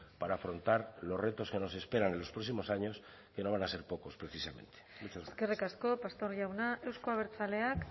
para afrontar los retos que nos esperan en los próximos años que no van a ser pocos precisamente eskerrik asko pastor jauna euzko abertzaleak